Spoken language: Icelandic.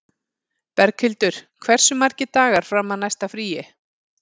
Berghildur, hversu margir dagar fram að næsta fríi?